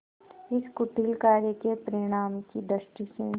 इस कुटिल कार्य के परिणाम की दृष्टि से